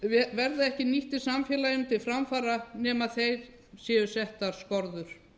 verða ekki nýttir samfélaginu til framfara nema þeim séu settar skorður